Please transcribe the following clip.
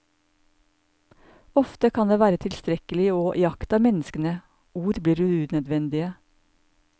Ofte kan det være tilstrekkelig å iaktta menneskene, ord blir unødvendige.